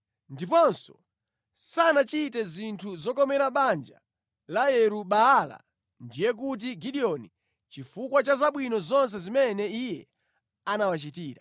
Ndiponso sanachite zinthu zokomera banja la Yeru-Baala (ndiye kuti Gideoni) chifukwa cha zabwino zonse zimene iye anawachitira.